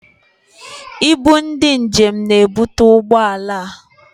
Ibu ndị njem na-ebutu ụgbọala a.